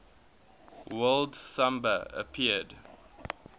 word samba appeared